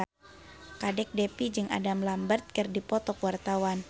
Kadek Devi jeung Adam Lambert keur dipoto ku wartawan